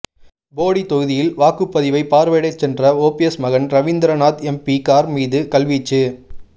போடி தொகுதியில் வாக்குப்பதிவை பார்வையிடச் சென்ற ஓபிஎஸ் மகன் ரவீந்திரநாத் எம்பி கார் மீது கல்வீச்சு